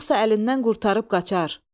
Yoxsa əlindən qurtarıb qaçar.